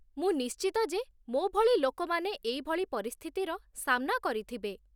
ମୁଁ ନିଶ୍ଚିତ ଯେ ମୋ ଭଳି ଲୋକମାନେ ଏଇଭଳି ପରିସ୍ଥିତିର ସାମ୍ନା କରିଥିବେ ।